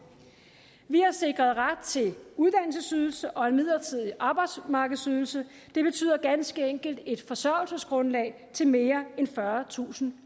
vi har sikret ret til uddannelsesydelse og en midlertidig arbejdsmarkedsydelse det betyder ganske enkelt et forsørgelsesgrundlag til mere end fyrretusind